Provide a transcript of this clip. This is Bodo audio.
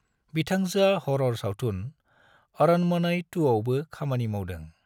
बिथांजोआ हरर सावथुन अरनमनई 2 आवबो खामानि मावदों।